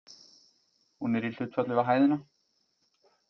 Hún er í hlutfalli við hæðina.